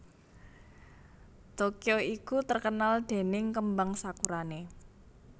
Tokyo iku terkenal dening kembang sakurane